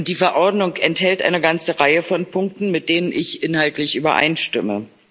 Die Verordnung enthält eine ganze Reihe von Punkten, mit denen ich inhaltlich übereinstimme.